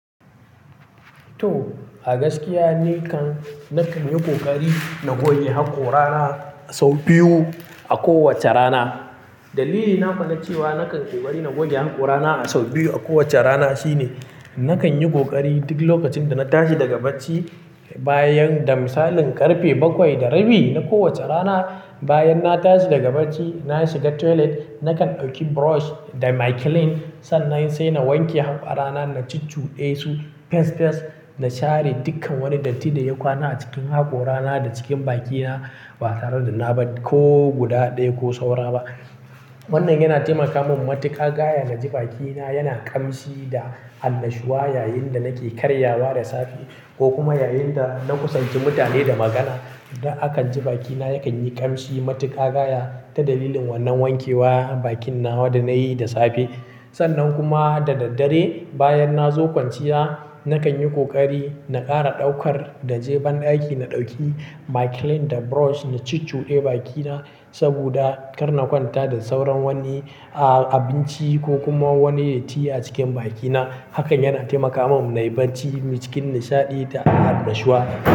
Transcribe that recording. To, a gaskiya ni kan na kan yi ƙoƙari na goge haƙora na sau biyu a kowace rana. Dalili na fa na cewa na kan yi bari na goge haƙora na a sau biyu a kowace rana shine na kan yi ƙoƙari duk lokacin da na tashi daga bacci bayan da misalin ƙarfe bakwai da rabi na kowace rana. Bayan na tashi daga bacci, na shiga toilet, na kan ɗauki brush da micellar sannan sai na wanke haƙora na, na cucuɗe su fes fes, na share dukkan wani datti da ya kwana a cikin haƙora na da cikin baki na ba tare da na bar ko guda ɗaya ko saura ba. Wannan yana taimaka min matuƙa gaya na ji bakina yana ƙamshi da annashuwa yayinda nake karyawa da safe ko kuma yayinda na kusanci mutane da magana. Da akan ji bakina yakan yi ƙamshi matuƙa gaya ta dalilin wannan wankewa bakin nawa da na yi da safe. Sannan kuma da daddare bayan na zo kwanciya, na kan yi ƙoƙari na ƙara ɗaukar da jeban ɗaki, na ɗauki micellar da brush, na cucuɗe bakina saboda kar na kwanta da sauran wani, ah, abinci ko kuma wani datti a cikin bakina. Hakan yana taimaka min na yi bacci cikin nishaɗi da annashuwa.